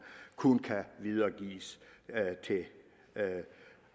kun kan videregives til